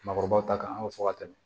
Maakɔrɔbaw ta kan an ka fɔ ka tɛmɛ